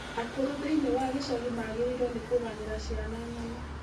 Akũrũ thĩinĩ wa gĩcagi magĩrĩirũo nĩ kũganĩra ciana ng'ano.